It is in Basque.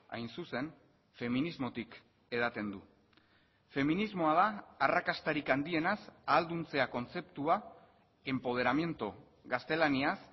hain zuzen feminismotik edaten du feminismoa da arrakastarik handienaz ahalduntzea kontzeptua empoderamiento gaztelaniaz